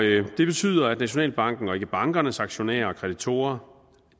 det betyder at nationalbanken og ikke bankernes aktionærer og kreditorer